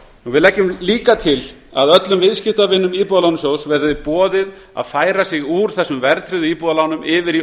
við leggjum líka til að öllum viðskiptavinum íbúðalánasjóðs verði boðið að færa sig úr þessum verðtryggðu íbúðalánum yfir í